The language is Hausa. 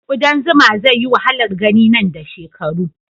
kudan zuma zai yi wahalar gani nan da shekaru